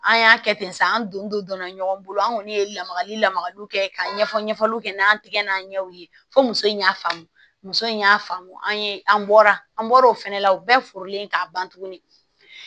An y'a kɛ ten sa an donna ɲɔgɔn bolo an kɔni ye lamagali lamagaliw kɛ ka ɲɛfɔ ɲɛfɔliw kɛ n'an tigɛ n'a ɲɛw ye fo muso in y'a faamu muso in y'a faamu an ye an bɔra an bɔra o fana la u bɛɛ furulen k'a ban tuguni